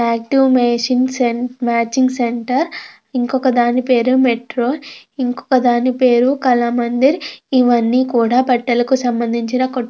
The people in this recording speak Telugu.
Active matching centre . ఇంకొక దాని పేరు మెట్రో . ఇంకోదాని పేరు కళామందిర్. ఇవన్నీ కూడా బట్టలకు సంబంధించిన కోట్లు.